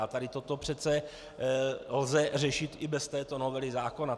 A tady toto přece lze řešit i bez této novely zákona.